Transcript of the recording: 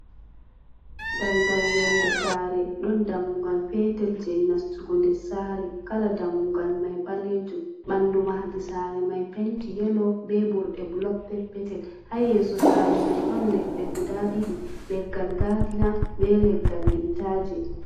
Daldal yonnde saare, ɗon dammugal peetel jey nastugo nder saare, kala dammugal may ɓaleejum, ɓanndu mahadi saare may, penti yelo be burɗe bulok peppetel. Haa yeeso saare may, ɗon leɗɗe guda ɗiɗi, leggal gaadina, be leggal liitaaje.